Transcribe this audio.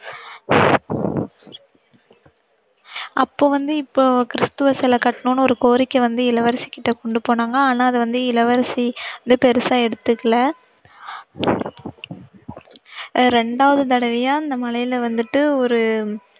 அப்போ வந்து இப்போ கிறிஸ்துவ சிலை கட்டணும்னு ஒரு கோரிக்கை வந்து இளவரசி கிட்ட கொண்டு போனாங்க ஆனா அதை வந்து இளவரசி வந்து பெருசா எடுத்துக்கல. ரெண்டாவது தடவையா அந்த மலையில வந்துட்டு ஒரு